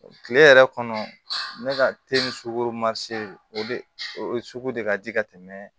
Kile yɛrɛ kɔnɔ ne ka sugu ma se o sugu de ka di ka tɛmɛ